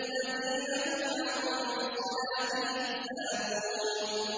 الَّذِينَ هُمْ عَن صَلَاتِهِمْ سَاهُونَ